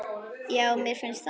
Já, mér finnst það.